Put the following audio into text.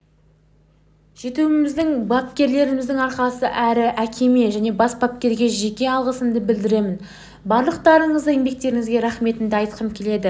жетуімізбапкерлеріміздің арқасы әрі әкеме және бас бапкерге жеке алғысымды білдіремін барлықтарыңыздың еңбектеріңізге рахметімді айтқым келеді